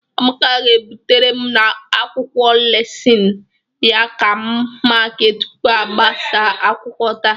Amaka ga-ebutere m akwụkwọ lesịnị ya ka m makịa tupu a gbasaa akwụkwọ taa.